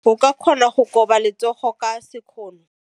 ka kgona go koba letsogo ka sekgono.